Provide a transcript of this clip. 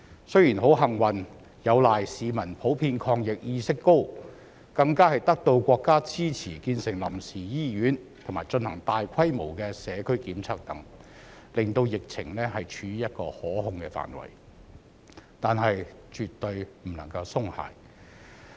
雖然很幸運，有賴市民普遍抗疫意識高，更得到國家支持建成臨時醫院，並進行大規模社區檢測等，令疫情處於可控範圍，但絕對不能夠鬆懈。